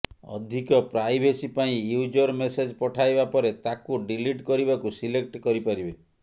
ଅଧିକ ପ୍ରାଇଭେସି ପାଇଁ user message ପଠାଇବା ପରେ ତାକୁ ଡିଲିଟ୍ କରିବାକୁ ସିଲେକ୍ଟ କରିପାରିବେ